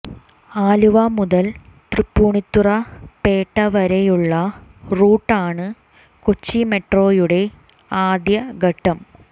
ആലുവ മുതൽ തൃപ്പൂണിത്തുറ പേട്ട വരെയുള്ള റൂട്ടാണ് കൊച്ചി മെട്രോയുടെ ആദ്യ ഘട്ടം